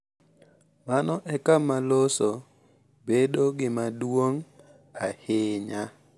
Mano e kama loso bedo gima duong’ ahinya.